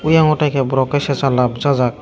eyongo tei kei borok sana bosajak.